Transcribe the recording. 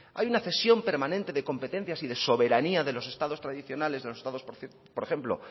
hay una cesión permanente de competencias y soberanías de los estados tradicionales de los estados por ejemplo